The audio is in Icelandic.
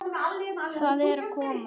Það er að koma!